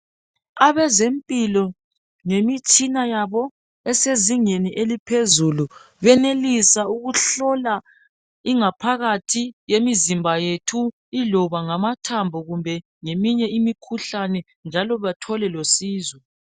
Abezempilo lemitshina yabo esezingeni eliphezulu benelisa ukuhlola ingaphakathi yemizimba yethu iloba ngamathambo kumbe leminye imikhuhlane njalo bathole losizo